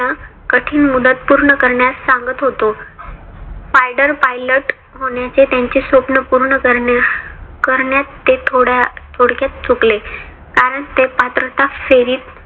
कठीण मुदत पूर्ण करण्यात सांगत होतो. फायडर pilot होण्याचे त्यांचे स्वप्न पूर्ण करण्यात ते थोड्या थोडक्यात चुकले. कारण ते पात्रता फेरीत